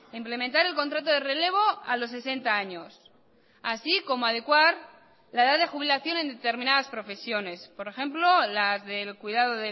implementar el contrato de relevo a los sesenta años así como adecuar la edad de jubilación en determinadas profesiones por ejemplo las del cuidado